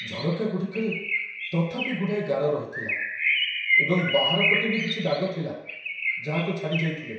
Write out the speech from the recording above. ଝରକା ଗୁଡ଼ିକରେ ତଥାପି ଗୁଡ଼ାଏ ଗାର ରହିଥିଲା, ଏବଂ ବାହାର ପଟେ ବି କିଛି ଦାଗ ଥିଲା ଯାହାକୁ ଛାଡ଼ିଯାଇଥିଲେ।